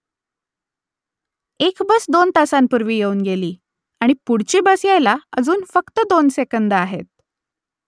एक बस दोन तासांपूर्वी येऊन गेली आणि पुढची बस यायला अजून फक्त दोन सेकंदं आहेत